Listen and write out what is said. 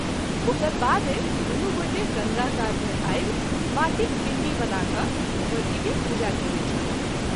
ओकर बादे दुनू गोटे गंगा कात मे आबि माटिक पींडी बना क ‘ भगवती के पूजा कएने छलाह।